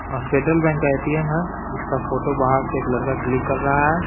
Federal Bank का ATM है जिसका फोटो बाहर से एक लड़का क्लिक कर रहा है।